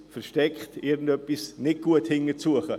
dahinter steckt irgendetwas Ungutes.